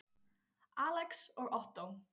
Alex og Ottó.